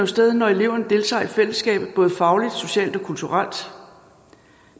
stede når eleven deltager i fællesskabet både fagligt socialt og kulturelt